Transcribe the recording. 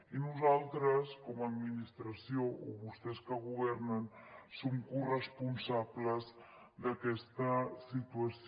i nosaltres com a administració o vostès que governen són corresponsables d’aquesta situació